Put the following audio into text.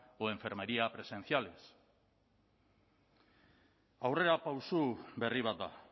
o de enfermería presenciales aurrerapauso berri bat da